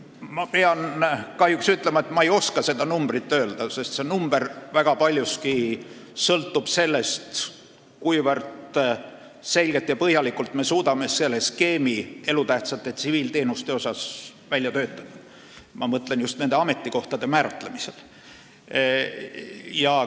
Ma pean kahjuks ütlema, et ma ei oska seda arvu öelda, sest see sõltub paljuski sellest, kuivõrd selgelt ja põhjalikult me suudame selle elutähtsate tsiviilteenuste skeemi välja töötada, ma mõtlen just nende ametikohtade määratlemist.